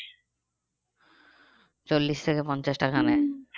চল্লিশ থেকে পঞ্চাশ টাকা